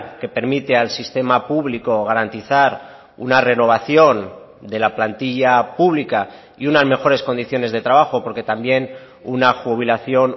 que permite al sistema público garantizar una renovación de la plantilla pública y unas mejores condiciones de trabajo porque también una jubilación